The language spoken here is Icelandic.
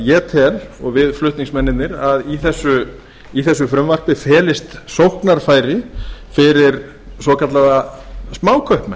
ég tel og við flutningsmennirnir að í þessu frumvarpi felist sóknarfæri fyrir svokallaða smákaupmenn